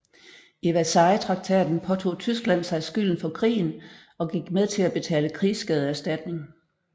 I Versaillestraktaten påtog Tyskland sig skylden for krigen og gik med til at betale krigsskadeerstatning